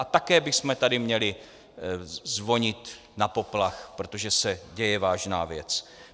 A také bychom tady měli zvonit na poplach, protože se děje vážná věc.